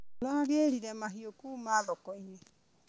Aragrire mahiũ kuma thokoinĩ.